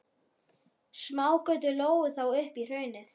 Smágötur lágu þó upp í hraunið.